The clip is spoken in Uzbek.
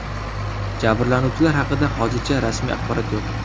Jabrlanuvchilar haqida hozircha rasmiy axborot yo‘q.